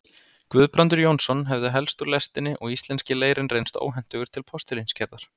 Guðbrandur Jónsson hefðu helst úr lestinni og íslenski leirinn reynst óhentugur til postulínsgerðar.